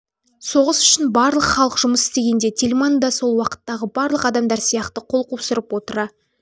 соғыс үшін барлық халық жұмыс істегенде тельман да сол уақыттағы барлық адамдар сияқты қол қусырып отыра